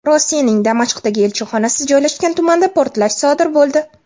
Rossiyaning Damashqdagi elchixonasi joylashgan tumanda portlash sodir bo‘ldi.